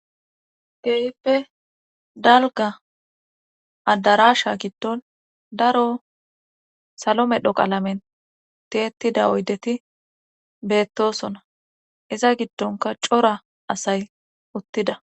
Keehippe dalgga addarasha giddon daro salo medho qalamen tiyyettida oyddeti beettosona iza giddonka cora asay uuttida